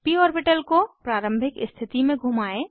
प ऑर्बिटल को प्रारंभिक स्थिति में घुमाएं